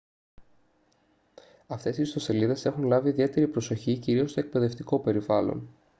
αυτές οι ιστοσελίδες έχουν λάβει ιδιαίτερη προσοχή κυρίως στο εκπαιδευτικό περιβάλλον